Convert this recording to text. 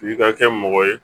F'i ka kɛ mɔgɔ ye